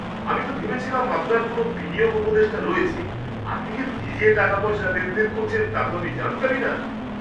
আমি তো ভেবেছিলাম আপনার কোনও বিনিয়োগ উপদেষ্টা রয়েছে, আপনি যে নিজে টাকাপয়সা লেনদেন করছেন তা তো আমি জানতামই না!